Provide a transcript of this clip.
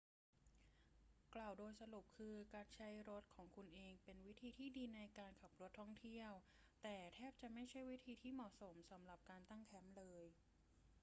กล่าวโดยสรุปคือการใช้รถของคุณเองเป็นวิธีที่ดีในการขับรถท่องเที่ยว แต่แทบจะไม่ใช่วิธีที่เหมาะสมสำหรับการ ตั้งแคมป์ เลย